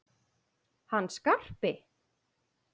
Hann Skarpi?